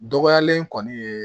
Dɔgɔyalen kɔni ye